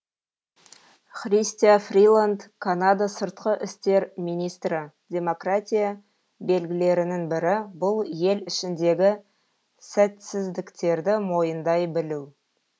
христя фриланд канада сыртқы істер министрі демократия белгілерінің бірі бұл ел ішіндегі сәтсіздіктерді мойындай білу